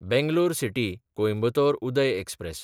Bangalore सिटी–कोयंबतोर Uday express